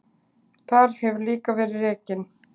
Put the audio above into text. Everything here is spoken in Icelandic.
Þar hefur líka verið rekin